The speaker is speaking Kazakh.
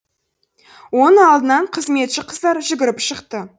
оң алдынан қызметші қыздар жүгіріп шықты